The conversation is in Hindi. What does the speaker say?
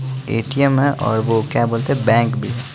ए_ टी_एम_ है और वो क्या बोलते हैं बैंक भी--